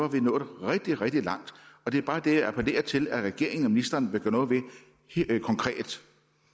vi nået rigtig rigtig langt og det er bare det jeg appellerer til at regeringen og ministeren konkret